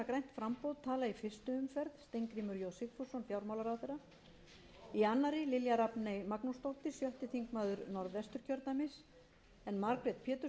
framboð tala í fyrstu umferð steingrímur j sigfússon fjármálaráðherra í annarri lilja rafney magnúsdóttir sjötti þingmaður norðvesturkjördæmis en margrét pétursdóttir þriðji þingmaður suðvesturkjördæmis